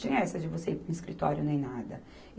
Tinha essa de você ir para um escritório, nem nada.